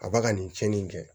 A b'a ka nin cɛnni in kɛ